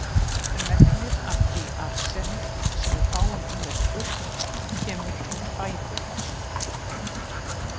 Megnið af því arseni, sem við fáum í okkur kemur úr fæðu.